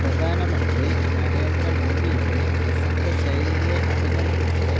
പ്രധാനമന്ത്രി നരേന്ദ്ര മോദിയുടെ പ്രസംഗശൈലിയെ അഭിനന്ദിച്ച്